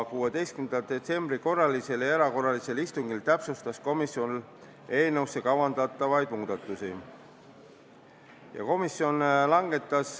16. detsembri korralisel ja erakorralisel istungil täpsustas komisjon eelnõusse teha kavandatavaid muudatusi.